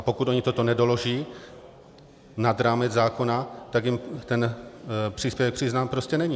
A pokud oni toto nedoloží nad rámec zákona, tak jim ten příspěvek přiznán prostě není.